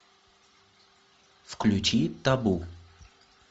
включи табу